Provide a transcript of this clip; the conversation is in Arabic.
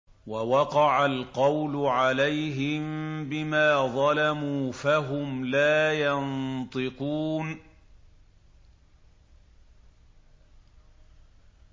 وَوَقَعَ الْقَوْلُ عَلَيْهِم بِمَا ظَلَمُوا فَهُمْ لَا يَنطِقُونَ